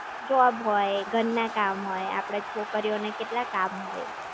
Job હોય, ઘરના કામ હોય આપણે છોકરીઓને કેટલા કામ હોય.